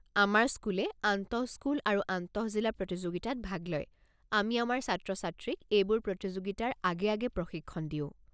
আমাৰ স্কুলে আন্তঃস্কুল আৰু আন্তঃজিলা প্ৰতিযোগিতাত ভাগ লয়, আমি আমাৰ ছাত্ৰ-ছাত্ৰীক এইবোৰ প্ৰতিযোগিতাৰ আগে আগে প্ৰশিক্ষণ দিওঁ।